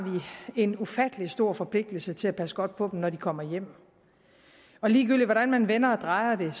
vi en ufattelig stor forpligtelse til at passe godt på dem når de kommer hjem ligegyldigt hvordan man vender og drejer